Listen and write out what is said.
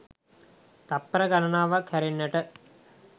තත්පර ගණනාවක් හැරෙන්නට